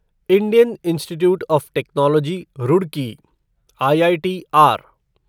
Indian Institute of Technology Roorkee IITR